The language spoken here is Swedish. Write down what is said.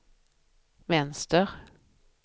vänster